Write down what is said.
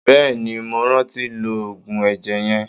Bẹ́ẹ̀ni, mo rántí lo oògùn ẹ̀jẹ̀ yẹn.